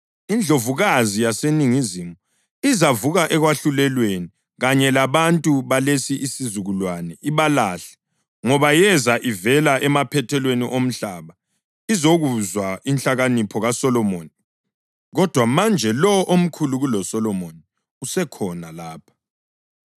INdlovukazi yaseNingizimu izavuka ekwahlulelweni kanye labantu balesi sizukulwane ibalahle ngoba yeza ivela emaphethelweni omhlaba izokuzwa inhlakanipho kaSolomoni kodwa manje lowo omkhulu kuloSolomoni usekhona lapha.